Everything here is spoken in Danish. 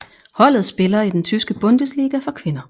Holdet spiller i den tyske Bundesliga for kvinder